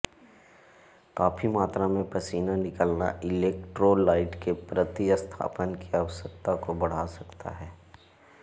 काफी मात्रा में पसीना निकलना इलेक्ट्रोलाइट के प्रतिस्थापन की आवश्यकता को बढ़ा सकता है